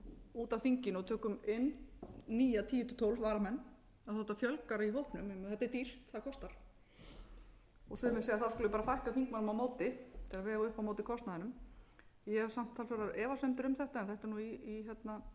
út af þinginu og tökum inn nýja tíu til tólf varamenn auðvitað fjölgar í hópnum þetta er dýrt það kostar sumir segja við skulum bara fækka þingmönnum á móti til að vega upp á móti kostnaðinum ég hef samt talsverðar efasemdir um þetta en þetta er nú í greinargerðinni af því það eru